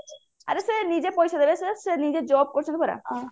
ଆରେ ସେ ନିଜେ ପଇସା ଦେବେ ସେ ସେ ନିଜେ job କରୁଛନ୍ତି ପରା